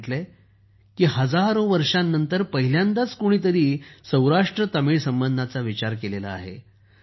त्यांनी म्हटले आहे की हजारो वर्षांनंतर पहिल्यांदाच कोणीतरी सौराष्ट्रतामिळ संबंधांचा विचार केला आहे